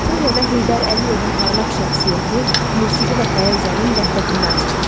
Aratoriyada Heydər Əliyevin parlaq şəxsiyyəti musiqi və poeziyanın vəhdətində açılır.